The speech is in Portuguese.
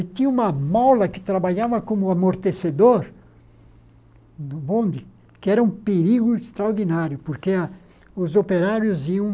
E tinha uma mola que trabalhava como amortecedor no bonde, que era um perigo extraordinário, porque os operários iam